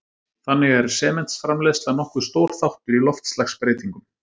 Þannig er sementsframleiðsla nokkuð stór þáttur í loftslagsbreytingum.